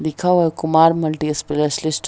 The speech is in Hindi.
लिखा हुआ है कुमार मल्टीस्पेशलिटी ।